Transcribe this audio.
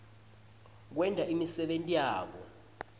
kwenta imisebenti yabo